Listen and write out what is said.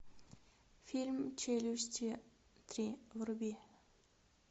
фильм челюсти три вруби